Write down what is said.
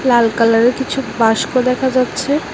লাল কালারের কিছু বাস্কো দেখা যাচ্ছে।